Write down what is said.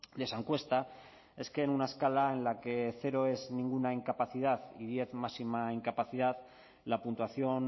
de esa encuesta es que en una escala en la que cero es ninguna incapacidad y diez máxima incapacidad la puntuación